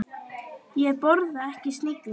Ég borða ekki snigla.